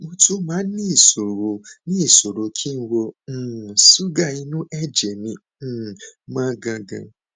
mo tún máa ń níṣòro níṣòro kí ìwọn um ṣúgà inú ẹjẹ mi um ma gangan